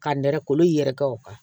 Ka nɛrɛ kolo yɛrɛkɛ o kan